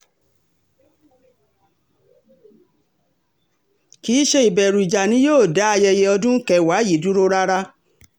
kì í ṣe ìbẹ̀rù ìjà ni yóò dá ayẹyẹ ọdún kẹwàá yìí dúró rárá